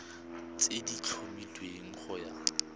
tse di tlhomilweng go ya